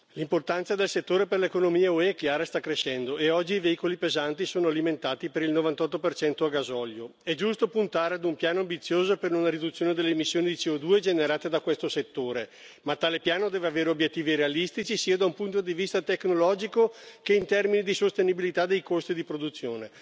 L'importanza del settore per l'economia UE è chiara e sta crescendo e oggi i veicoli pesanti sono alimentati per il 98 a gasolio. È giusto puntare a un piano ambizioso per una riduzione delle emissioni di CO2 generate da questo settore, ma tale piano deve avere obiettivi realistici, sia da un punto di vista tecnologico che in termini di sostenibilità dei costi di produzione.